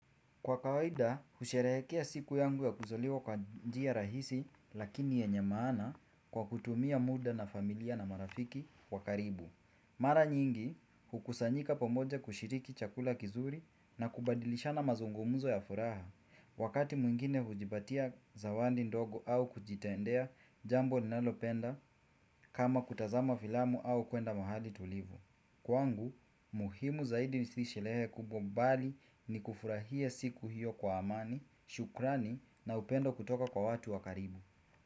Kwa kawaida, husherehekea siku yangu ya kuzaliwa kwa njia rahisi lakini yenye maana kwa kutumia muda na familia na marafiki wa karibu. Mara nyingi, hukusanyika pamoja kushiriki chakula kizuri na kubadilishana mazungumuzo ya furaha wakati mwingine hujibatia zawandi ndogo au kujitendea jambo nalopenda kama kutazama filamu au kuenda mahali tulivu. Kwangu, muhimu zaidi ni si shelehe kubwa mbali ni kufurahia siku hiyo kwa amani, shukrani na upendo kutoka kwa watu wakaribu.